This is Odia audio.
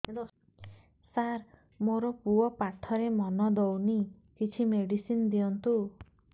ସାର ମୋର ପୁଅ ପାଠରେ ମନ ଦଉନି କିଛି ମେଡିସିନ ଦିଅନ୍ତୁ